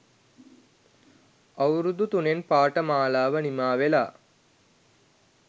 අවුරුදු තුනෙන් පාඨමාලාව නිමා වෙලා